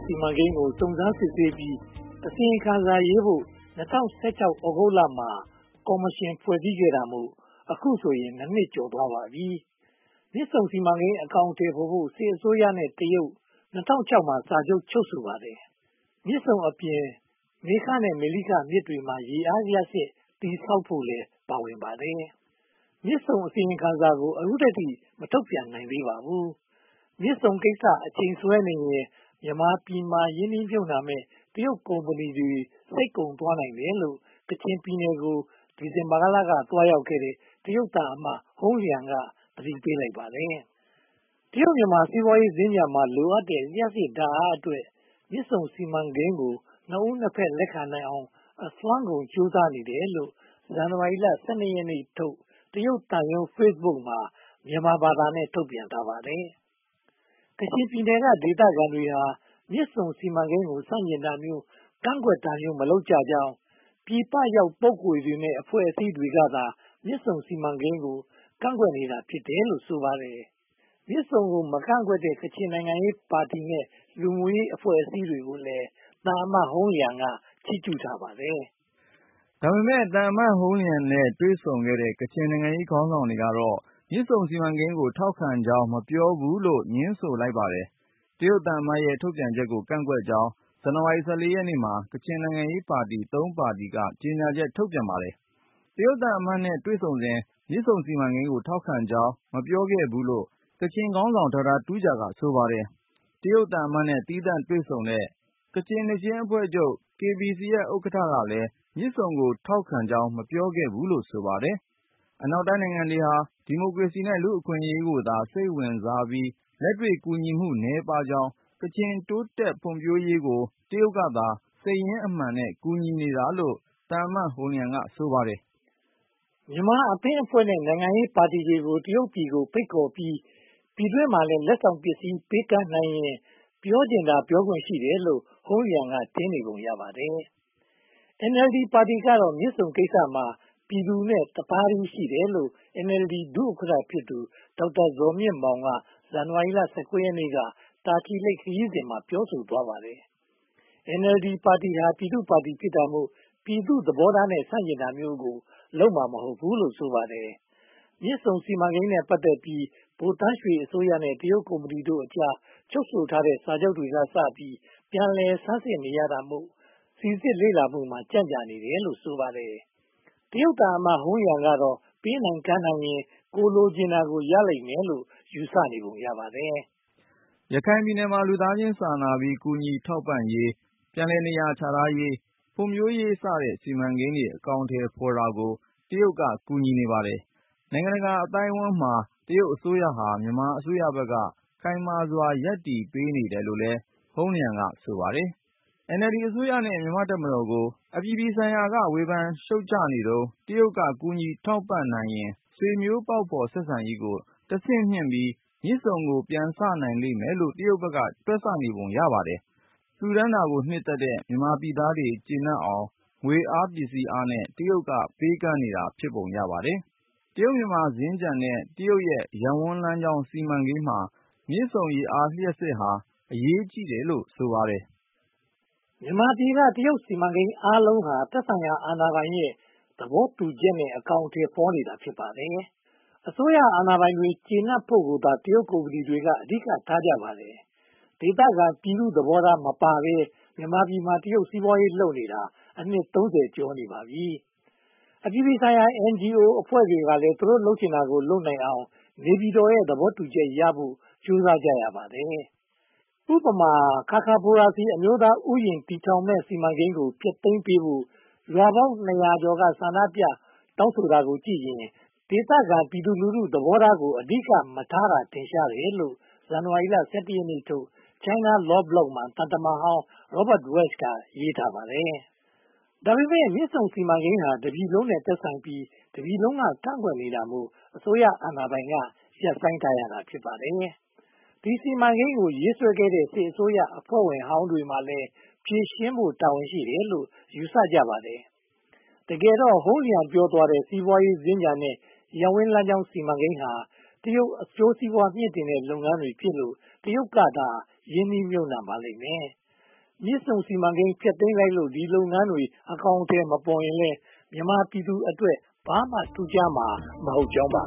စီမံကိန်းကို စုံစမ်းစစ်ဆေးပြီး အစီရင်ခံစာရေးဖို့ ၂၀၁၆ သြဂုတ်လမှာ ကော်မရှင်ဖွဲ့စည်းတာမို့ အခုဆိုရင် (၂) နှစ် ကျော်သွားပါပြီ။ မြစ်ဆုံစီမံကိန်း အကောင်အထည်ဖော်ဖို့ စစ်အစိုးရနဲ့ တရုတ်တို့ ၂၀၀၆ ခုနှစ်မှာ စာချုပ်ချုပ်ဆိုခဲ့ပါတယ်။ မြစ်ဆုံအပြင် မေခနဲ့ မလိခမြစ်တွေမှာ ရေအားလျှပ်စစ်စက်ရုံ တည်ဆောက်ဖို့လည်း ပါဝင်ပါတယ်။ မြစ်ဆုံအစီရင်ခံစာကို အခုထိ ဘာမှမထုတ်ပြန်နိုင်သေးပါဘူး။ မြစ်ဆုံကိစ္စ အချိန်ဆွဲနေရင် မြန်မာပြည်မှာ ရင်းနှီးမြုပ်နံှမယ့် တရုတ်ကုမ္ပဏီတွေ စိတ်ကုန်သွားနိုင်တယ်လို့ ကချင်ပြည်နယ်ကို ဒီဇင်ဘာလက သွားရောက်ခဲ့တဲ့ တရုတ်သံအမတ် ဟုန်းလျံ က သတိပေးလိုက်ပါတယ်။ တရုတ်-မြန်မာ စီးပွားရေးစင်္ကြန်မှာ လိုအပ်တဲ့ လျှပ်စစ်ဓါတ်အားအတွက် မြစ်ဆုံစီမံကိန်းကို နှစ်ဦးနှစ်ဖက် လက်ခံနိုင်အောင် အစွမ်းကုန်ကြိုးစားနေတယ်လို့ ဇန်နဝါရီလ (၁၂) ရက်နေ့ထုတ် တရုတ်သံရုံး Facebook မှာ မြန်မာဘာသာနဲ့ ထုတ်ပြန်ထားပါတယ်။ ကချင်ပြည်နယ်က ဒေသခံတွေဟာ မြစ်ဆုံစီမံကိန်းကို ဆန့်ကျင်တာမျိုး၊ ကန့်ကွက်တာမျိုး၊ မလုပ်ကြကြောင်း ပြည်ပရောက်ပုဂ္ဂိုလ်တွေနဲ့ အဖွဲ့အစည်းတွေကသာ မြစ်ဆုံစီမံကိန်းကို ကန့်ကွက်နေကြတာ ဖြစ်တယ်လို့ ဆိုပါတယ်။ မြစ်ဆုံကို မကန့်ကွက်တဲ့ ကချင်နိုင်ငံရေးပါတီနဲ့ လူမှုရေးအဖွဲ့အစည်းတွေကိုလည်း သံအမတ်ဟုန်းလျံက ချိးကျူးထားပါတယ်။ ဒါပေမဲ့ သံအမတ်ဟုန်းလျံနဲ့ တွေ့ဆုံခဲ့တဲ့ ကချင်နိုင်ငံရေးခေါင်းဆောင်တွေကတော့ မြစ်ဆုံစီမံကိန်းကို ထောက်ခံကြောင်း မပြောဘူးလို့ ငြင်းဆိုလိုက်ပါတယ်။ တရုတ်သံအမတ်ရဲ့ ထုတ်ပြန်ချက်ကို ကန့်ကွက်ကြောင်း ဇန်နဝါရီလ (၁၄) ရက်နေ့မှာ ကချင်နိုင်ငံရေးပါတီ (၃) ပါတီက ကြေညာချက်ထုတ်ပြန်ပါတယ်။ တရုတ်သံအမတ်နဲ့ တွေ့ဆုံစဉ် မြစ်ဆုံစီမံကိန်းကို ထောက်ခံကြောင်း မပြောခဲ့ဘူးလို့ ကချင်ခေါင်းဆောင် Dr. Tuja က ဆိုပါတယ်။ တရုတ်သံအမတ်နဲ့ သီသန့်တွေ့ဆုံတဲ့ ကချင်နှစ်ချင်းအဖွဲ့ချုပ် Kachin Baptist Church ရဲ့ ဥက္ကဋ္ဌကလည်း မြစ်ဆုံကို ထောက်ခံကြောင်း မပြောခဲ့ဘူးလို့ ဆိုပါတယ်။ အနောက်နိုင်ငံတွေဟာ ဒီမိုကရေစီနဲ့ လူ့အခွင့်အရေးကိုသာ စိတ်ဝင်စားပြီး လက်တွေ့ကူညီမှု နည်းပါးကြောင်း ကချင်တိုးတက်ဖွံ့ဖြိုးရေးကို တရုတ်ကသာ စိတ်ရင်းအမှန်နဲ့ ကူညီနေတာလို့ ဟုန်းလျံ က ဆိုပါတယ်။ မြန်မာအသင်းအဖွဲ့နဲ့ နိုင်ငံရေးပါတီဝင်တွေကို တရုတ်ပြည်ကိုဖိတ်ခေါ်ပြီး ပြည်တွင်းမှာလည်း လက်ဆောင်ပစ္စည်း ပေးကမ်းနိုင်ရင် ပြောချင်တာ ပြောခွင့်ရှိတယ်လို့ ဟုန်းလျံ က ထင်နေပုံရပါတယ်။ NLD ပါတီကတော့ မြစ်ဆုံကိစ္စမှာ ပြည်သူနဲ့တသားတည်းရှိတယ်လို့ NLD ဒုဥက္ကဋ္ဌဖြစ်သူ ဒေါက်တာဇော်မြင့်မောင် က ဇန်နဝါရီလ (၁၉) ရက်နေ့က တာချီလိတ်ခရီးစဉ်မှာ ပြောဆိုသွားပါတယ်။ NLD ပါတီဟာ ပြည်သူ့ပါတီဖြစ်တာမို့ ပြည်သူ့သဘောထားနဲ့ ဆန့်ကျင်တာမျိုးကို လုပ်မှာမဟုတ်ဘူးလို့ ဆိုပါတယ်။ မြစ်ဆုံစီမံကိန်းနဲ့ ပတ်သက်ပြီး ဗိုလ်သန်းရွှေအစိုးရနဲ့ တရုတ်ကုမ္ပဏီတို့အကြား ချုပ်ဆိုထားတဲ့စာချုပ်တွေကစပြီး ပြန်လည်ဆန်းစစ်နေရတာမို့ စီစစ်လေ့လာမှုမှာ ကြန့်ကြာနေရတာလို့ ဆိုပါတယ်။ တရုတ်သံအမတ် ဟုန်းလျံကတော့ ပေးနိုင်ကမ်းနိုင်ရင် ကိုယ်လိုချင်တာကို ရလိမ့်မယ်လို့ ယူဆနေပုံရပါတယ်။ ရခိုင်ပြည်နယ်မှာ လူသားချင်းစာနာပြီး ကူညီထောက်ပံ့ရေး၊ ပြန်လည်နေရာချထားရေး၊ ဖွံ့ဖြိုးရေးစတဲ့ စီမံကိန်းတွေ အကောင်အထည်ဖော်တာကို တရုတ်က ကူညီနေပါတယ်။ နိုင်ငံတကာအသိုက်အဝန်းမှာ တရုတ်အစိုးရဟာ မြန်မာအစိုးရဘက်က ခိုင်မာစွာ ရပ်တည်ပေးနေတယ်လို့လည်း ဟုန်းလျံ က ဆိုပါတယ်။ NLD အစိုးရနဲ့ မြန်မာ့တပ်မတော်ကို အပြည်ပြည်ဆိုင်ရာမှာ ဝေဖန်ရှုတ်ချနေတုန်း တရုတ်က ကူညီထောက်ပံ့နိုင်ရင် ဆွေမျိုးပေါက်ဖော်ဆက်ဆံရေးကို တဆင့်မြှင့်ပြီး မြစ်ဆုံကို ပြန်စနိုင်လိမ့်မယ်လို့ တရုတ်ဘက်က တွက်နေပုံရပါတယ်။ လှူဒါန်းတာကို နှစ်သက်တဲ့ မြန်မာပြည်သားတွေ ကျေနပ်အောင် ငွေအားပစ္စည်းအားနဲ့ တရုတ်က ပေးကမ်းနေတာ ဖြစ်ပုံရပါတယ်။ တရုတ်-မြန်မာ စင်္ကြန်နဲ့ တရုတ်ရဲ့ ရပ်ဝန်းလမ်းကြောင်းစီမံကိန်းမှာ မြစ်ဆုံရေအား လျှပ်စစ်ဟာ အရေးကြီးတယ်လို့ ဆိုပါတယ်။ မြန်မာပြည်က တရုတ်စီမံကိန်းအားလုံးဟာ သက်ဆိုင်ရာအာဏာပိုင်တွေရဲ့ သဘောတူညီချက်နဲ့ အကောင်အထည်ဖော်နေတာ ဖြစ်ပါတယ်။ အစိုးရအာဏာပိုင်တွေ ကျေနပ်ဖို့ကိုသာ တရုတ်ကုမ္ပဏီတွေ အဓိကထားကြပါတယ်။ ဒေသခံပြည်သူ့သဘောထား မပါဘဲ မြန်မာပြည်မှာ တရုတ်စီးပွားရေးလုပ်နေတာ အနှစ် (၃၀) ကျော်ပါပြီ။ အပြည်ပြည်ဆိုင်ရာ NGO အဖွဲ့တွေကလည်း သူတို့ လုပ်ချင်တာလုပ်နိုင်အောင် နေပြည်တော်ရဲ့ သဘောတူချက်ရဖို့ ကြိုးစားကြရပါတယ်။ ခါခါဘိုရာဇီ အမျိုးသားဥယျာဉ် တည်ထောင်မယ့်စီမံကိန်းကို ဖျက်သိမ်းပေးဖို့ ရွာပေါင်းနှစ်ရာကျော်က ဆန္ဒပြတောင်းဆိုတာကိုကြည့်ရင် ဒေသခံပြည်သူလူထု သဘောထားကို အဓိကမထားကြတာ ထင်ရှားတယ်လို့ ဇန်နဝါရီလ (၁၁) ရက်နေ့ထုတ် China Law Blog မှာ သံတမန်ဟောင်း Robert Walsh က ရေးထားပါတယ်။ ဒါပေမဲ့ မြစ်ဆုံစီမံကိန်းဟာ တပြည်လုံးနဲ့ သက်ဆိုင်ပြီး တပြည်လုံးက ကန့်ကွက်နေတာမို့ အစိုးရအာဏာပိုင်က ရပ်ဆိုင်းထားရတာ ဖြစ်ပါတယ်။ ဒီ စီမံကိန်းကို ရေးဆွဲခဲ့တဲ့ စစ်အစိုးရအဖွဲ့ဝင်ဟောင်းတွေမှာလည်း ဖြေရှင်းဖို့ တာဝန်ရှိတယ်လို့ ယူဆကြပါတယ်။ တကယ်တော့ ဟုန်းလျံ ပြောသွားတဲ့ စီးပွားရေးစင်္ကြန်နဲ့ ရပ်ဝန်းလမ်းကြောင်းစီမံကိန်းဟာ တရုတ်အကျိုးစီးပွား မြှင့်တင်တဲ့လုပ်ငန်းတွေဖြစ်လို့ တရုတ်ကသာ ရင်းနှီးမြုပ်နံှပါလိမ့်မယ်။ မြစ်ဆုံစီမံကိန်း ဖျက်သိမ်းလို့ ဒီလုပ်ငန်းတွေ အကောင်အထည်မပေါ်လဲ မြန်မာပြည်သူတွေအတွက် ဘာမှထူးခြားမှာ မဟုတ်ကြောင်းပါ